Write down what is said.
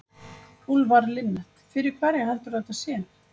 Úlfar Linnet: Fyrir hverja heldurðu að þetta sé?